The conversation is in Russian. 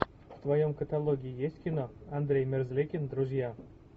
в твоем каталоге есть кино андрей мерзликин друзья